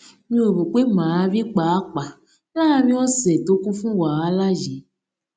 mi ò rò pé màá rí i pàápàá láàárín òsè tó kún fún wàhálà yìí